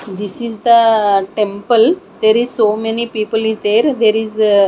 this is the temple there is so many people is there there is --